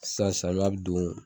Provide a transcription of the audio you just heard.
Sasa don